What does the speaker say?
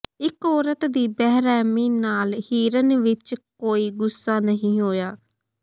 ਇਕ ਔਰਤ ਦੀ ਬੇਰਹਿਮੀ ਨਾਲ ਹਿਰਨ ਵਿਚ ਕੋਈ ਗੁੱਸਾ ਨਹੀਂ ਹੋਇਆ